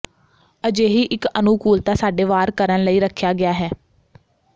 ਅਜਿਹੀ ਇੱਕ ਅਨੁਕੂਲਤਾ ਸਾਡੇ ਵਾਰ ਕਰਨ ਲਈ ਰੱਖਿਆ ਗਿਆ ਹੈ